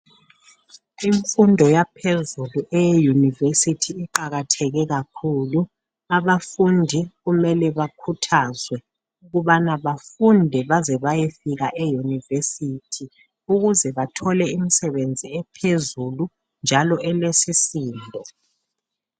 Imfundo yaphezulu eye university iqakatheke kakhulu. Abafundi kumele bakhuthazwe ukubana bafunde baze bayefika e university ukuze bathole imsebenzi ephezulu njalo elesisindo.